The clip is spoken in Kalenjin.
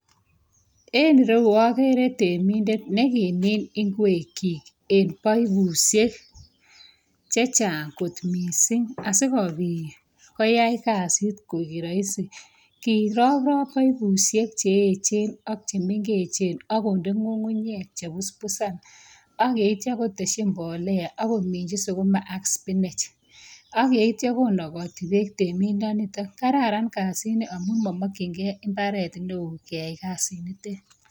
En ireu agere temindet negimin ingwekyik en paipusiek che chang kot mising asigopit koyai kasit koek raisi. Kiroprop paipusiek che eechen ak chemengechen ak konde ngungunyek che puspusan ak yeitya kotesyi mbolea ak kominji suguma ak sipinech ak yeitya konogoti beek temindanito. Kararan kasini amu mamakyinge imbaret neo keyai kasit nitet.